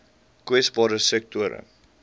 kwesbare sektore